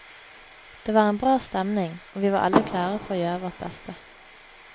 Det var en bra stemning og vi var alle klare for å gjøre vårt beste.